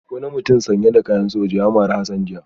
Wani mutum sanye da kayan soja ya mari Hassan jiya